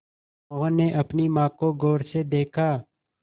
मोहन ने अपनी माँ को गौर से देखा